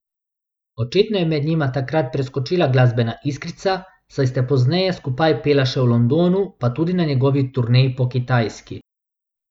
Očitno je med njima takrat preskočila glasbena iskrica, saj sta pozneje skupaj pela še v Londonu, pa tudi na njegovi turneji po Kitajski.